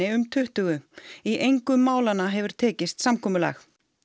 um tuttugu í engu málanna hefur tekist samkomulag